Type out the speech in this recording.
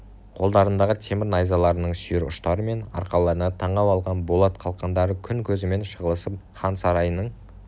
қолдарындағы темір найзаларының сүйір ұштары мен арқаларына таңып алған болат қалқандары күн көзімен шағылысып хан сарайының